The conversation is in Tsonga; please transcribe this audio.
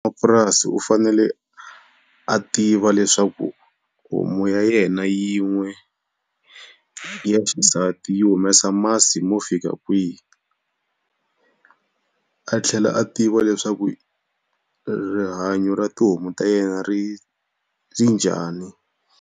U fanele a tiva leswaku homu ya yena yin'we ya xisati yi humesa masi mo fika kwihi. A tlhela a tiva leswaku rihanyo ra tihomu ta yena ri ri njhani.